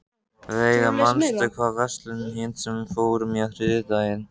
Veiga, manstu hvað verslunin hét sem við fórum í á þriðjudaginn?